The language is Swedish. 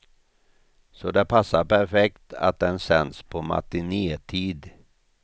Så det passar perfekt att den sänds på matinétid.